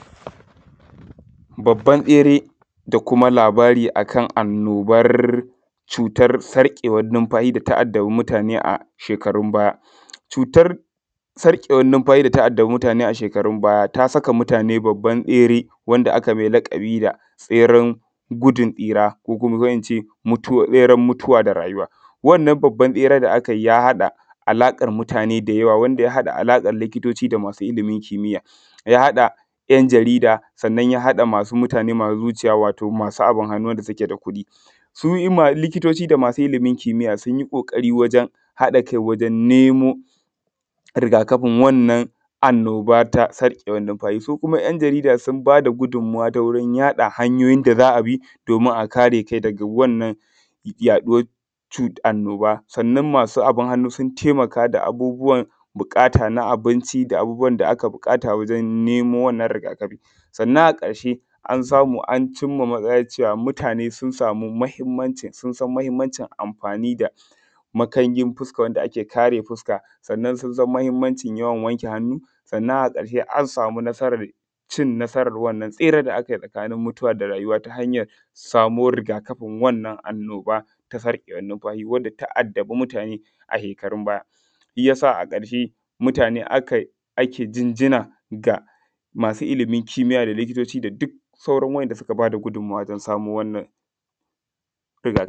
babban tsere da kuma labara akan annoban cutar sarkewan numfashi da ta addaba mutane a shekarun baya. Cutar sarkewan numfashi da ta addaba mutane a shekarun baya ta saka mutane a babban tsere wanda aka mai laƙabi da tseren gudun tsira, ko kuma mutu beren mutuwa da rayuwa. Wannan babban tsere da aka yi ya haɗa alaƙar mutane da yawa, wanda ya haɗa likitoci da masu ilimin kimiya, ya haɗa da ’yan jarida, sannan ya haɗa masu mutane masu wucewa, masu abun hannu, wanda suke da kuɗi. Su ma likitoci da masu ilimin kimiya sun yi ƙoƙari wajen haɗa kai wajen nemo rigakafin wannan annoba na sarkewan numfashi. Su kuma ’yan jarida sun ba da gudunmuwa ta wurin yaɗa hanyoyin da za a bi, domin a kare kanka daga wannan yaɗuwar cuta annoba. Sannan masu abun hannu sun taimaka da abubbuwan buƙata na abinci, da abubbuwan da aka buƙata wajen nemo wannan rigakafi. Sannan a ƙarshe, an samu an cimma matsaya cewa mutane sun san muhimmancinsa, sun san muhimmancin amfani da makarin fusaka, wanda ake kare fuska, sannan sun san muhimmancin yawan wanke hannu. Sannan a ƙarshe an samu nasarar cin nasara wannan tsere da aka yi, ta halin mutuwa da rayuwa, ta hanyar samuwar rigakafin wannan annoba ta sarkewan numfashi, wanda ta addabi mutane a shekarun baya. Shiyasa a ƙarshe, mutane akan ake jinjina ga masu ilimin kimiya, da likitoci, da duk sauran waɗanda suka ba da gudunmuwa wajen samo wannan rigakafi. Na gode.